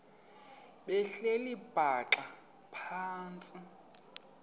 behleli bhaxa phantsi